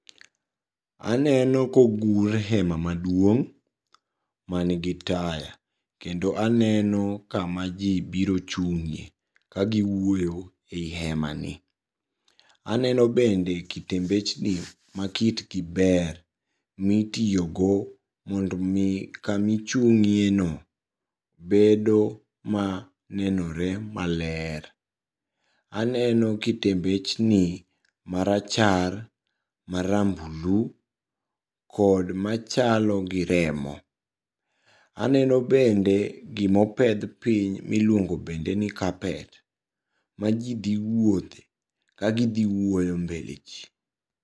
Aneno kogur hema maduong' manigi taya, kendo aneno kama jii biro chung'ie kagiwuoyo ei hemani. Aneno bende kitembechni makitgi ber, mitiyogo mondomi kamichung'ieno bedo manenore maler. Aneno kitembechni marachar, marambulu kod machalo gi remo. Aneno bende gimopedh piny miluongo bendeni carpet ma jii dhi wuothe ka gidhi wuoyo mbele jii.